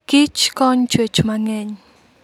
Kich kony chwech mangeny